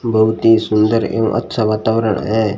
बहुत ही सुंदर एवं अच्छा वातावरण है।